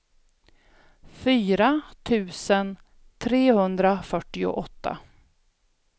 fyra tusen trehundrafyrtioåtta